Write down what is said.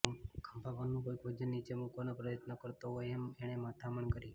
ખભા પરનું કોઇક વજન નીચે મૂકવાનો પ્રયત્ન કરતો હોય એમ એણે મથામણ કરી